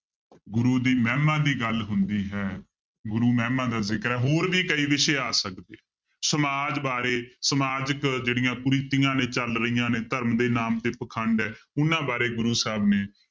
ਗੁਰੂ ਦੀ ਮਹਿਮਾ ਦੀ ਗੱਲ ਹੁੰਦੀ ਹੈ, ਗੁਰੂ ਮਹਿਮਾ ਦਾ ਜ਼ਿਕਰ ਹੈ ਹੋਰ ਵੀ ਕਈ ਵਿਸ਼ੇ ਆ ਸਕਦੇ, ਸਮਾਜ ਬਾਰੇ ਸਮਾਜਕ ਜਿਹੜੀਆਂ ਕੁਰੀਤੀਆਂ ਨੇ ਚੱਲ ਰਹੀਆਂ ਨੇ ਧਰਮ ਦੇ ਨਾਮ ਤੇ ਪਾਖੰਡ ਹੈ ਉਹਨਾਂ ਬਾਰੇ ਗੁਰੂ ਸਾਹਬ ਨੇ